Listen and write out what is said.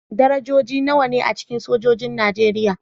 Darajoji nawa ne a cikin sojojin Najeriya?